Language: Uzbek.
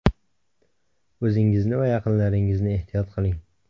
O‘zingizni va yaqinlaringizni ehtiyot qiling!